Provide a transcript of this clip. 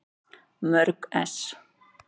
Mörg ess.